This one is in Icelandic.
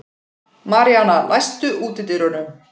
Maríana, læstu útidyrunum.